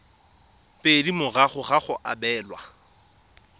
pedi morago ga go abelwa